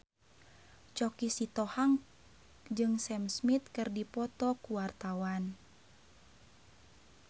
Choky Sitohang jeung Sam Smith keur dipoto ku wartawan